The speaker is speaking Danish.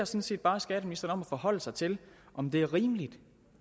set bare skatteministeren om at forholde sig til om det er rimeligt